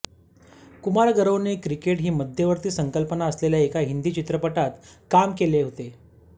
कुमार गौरवने क्रिकेट ही मध्यवर्ती संकल्पना असलेल्या एका हिंदी चित्रपटात काम केले होते